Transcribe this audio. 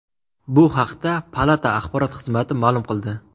Bu haqda palata axborot xizmati ma’lum qildi .